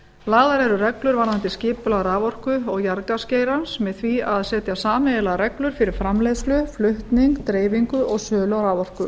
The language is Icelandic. lagðar eru reglur varðandi skipulag raforku og jarðgasgeirans með því að setja sameiginlegar reglur fyrir framleiðslu flutning dreifingu og sölu á raforku